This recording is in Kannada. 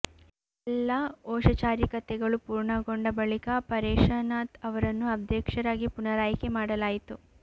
ಎಲ್ಲ ಓಷಚಾರಿಕತೆಗಳು ಪೂರ್ಣಗೊಂಡ ಬಳಿಕೆ ಪರೇಶ ನಾಥ್ ಅವರನ್ನು ಅಧ್ಯಕ್ಷರಾಗಿ ಪುನರಾಯ್ಕೆ ಮಾಡಲಾುತು